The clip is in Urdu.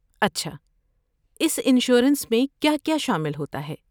اچھا، اس انشورنس میں کیا کیا شامل ہوتا ہے؟